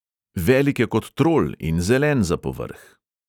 Velik je kot trol in zelen za povrh!